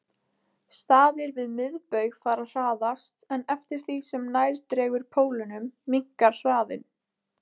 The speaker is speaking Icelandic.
Staðir við miðbaug fara hraðast en eftir því sem nær dregur pólunum minnkar hraðinn.